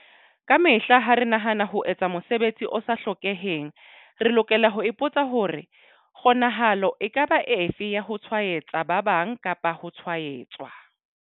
Kamehla ha re nahana ka ho etsa mosebetsi o sa hlokeheng, re lokela ho ipo tsa hore kgonahalo e ka ba efe ya ho tshwaetsa ba bang kapa ho tshwaetswa?